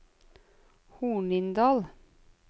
Hornindal